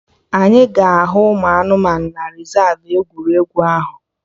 Anyị ga-ahụ ụmụ anụmanụ na rezav egwuregwu ahụ